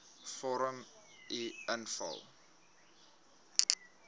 vorm uf invul